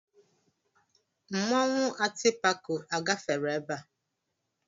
Mmanwụ atịpako a gafere ebe a?